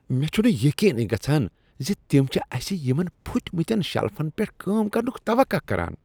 مےٚ چُھنہٕ یقینٕی گژھان ز تم چھ اسہ یمن پھٕٹۍمتین شیلفن پیٹھ کٲم کرنک توقع کران۔